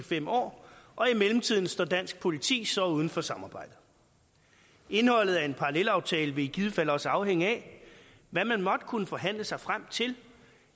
fem år og i mellemtiden står dansk politi så uden for samarbejdet indholdet af en parallelaftale vil i givet fald også afhænge af hvad man måtte kunne forhandle sig frem til